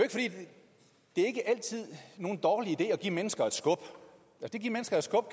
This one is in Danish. er ikke altid nogen dårlig idé at give mennesker et skub at give mennesker et skub